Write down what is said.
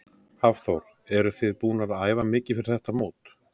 Hafþór: Eruð þið búnar að æfa mikið fyrir þetta mót?